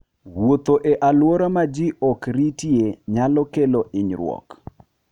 Wuotho e alwora ma ji ok ritie nyalo kelo hinyruok.